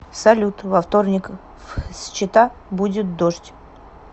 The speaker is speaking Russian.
салют во вторник в счета будет дождь